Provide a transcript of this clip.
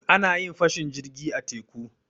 A na yin fashin jirgi a teku.